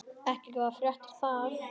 Ekki góðar fréttir það.